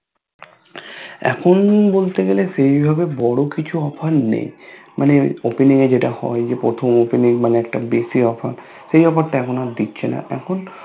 এখন বলতে গেলে সেই ভাবে বড় কিছু Offer নেই মানে Opening এ যেটা হয় মানে প্রথম Opening মানে একটা বেশি Offer সেই Offer টা এখন আর দিচ্ছেনা এখন